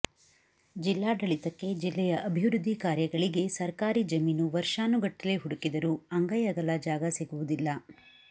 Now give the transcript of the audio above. ಜಿಲ್ಲಾಡಳಿತಕ್ಕೆ ಜಿಲ್ಲೆಯ ಅಭಿವೃದ್ಧಿ ಕಾರ್ಯಗಳಿಗೆ ಸರ್ಕಾರಿ ಜಮೀನು ವರ್ಷಾನುಗಟ್ಟಲೆ ಹುಡುಕಿದರೂ ಅಂಗೈ ಅಗಲ ಜಾಗ ಸಿಗುವುದಿಲ್ಲ